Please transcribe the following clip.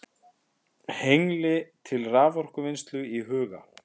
Hengli til raforkuvinnslu í huga.